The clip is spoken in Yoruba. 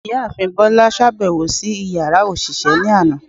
Ìyáàfín Bola ṣabẹwo si ìyára oṣiṣẹ ni aná